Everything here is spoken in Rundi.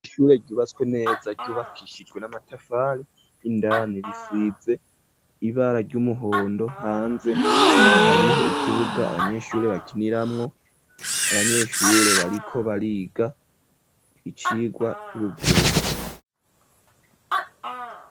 Ishure ryubatswe neza ryubakishijwe n'amatafari, indani risize ibara ry'umuhondo ,hanze hariho ikibuga abanyeshuri bakiniramwo ,abanyeshure bariko bariga icigwa c'ubivuzi.